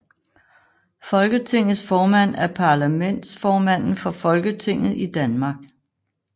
Folketingets formand er parlamentsformanden for Folketinget i Danmark